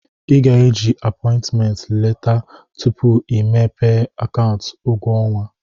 Ị ga eji apọị ntment leta tupu i mepee akaụntụ ụgwọ ọnwa.